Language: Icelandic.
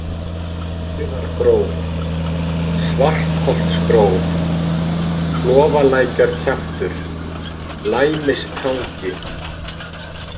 Feigðargróf, Svartholtsgróf, Klofalækjarkjaftur, Læmistangi